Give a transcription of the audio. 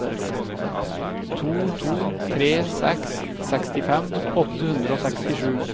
to to tre seks sekstifem åtte hundre og sekstisju